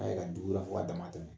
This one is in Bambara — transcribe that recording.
A' ye ka dugura fɔ ka dama tɛmɛ.